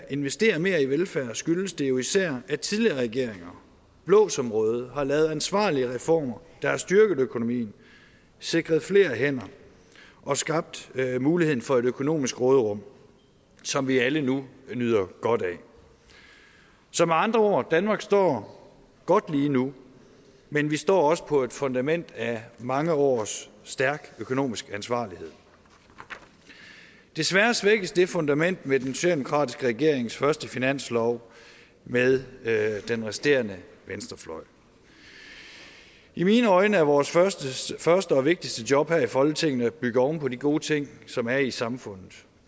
investere mere i velfærd skyldes det jo især at tidligere regeringer blå som røde har lavet ansvarlige reformer der har styrket økonomien sikret flere hænder og skabt muligheden for et økonomisk råderum som vi alle nu nyder godt af så med andre ord danmark står godt lige nu men vi står også på et fundament af mange års stærk økonomisk ansvarlighed desværre svækkes det fundament med den socialdemokratiske regerings første finanslov med med den resterende venstrefløj i mine øjne er vores første første og vigtigste job her i folketinget at bygge oven på de gode ting som er i samfundet